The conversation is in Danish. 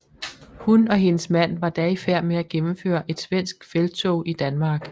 Hun og hendes mand var da i færd med at gennemføre et svensk felttog i Danmark